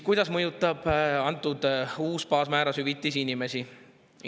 Kuidas mõjutab uus baasmääras hüvitis inimesi?